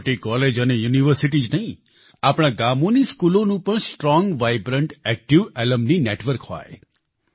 મોટી કોલેજ અને યુનિવર્સિટી જ નહીં આપણાં ગામોની સ્કૂલોનું પણ strong vibrant active alumni network હોય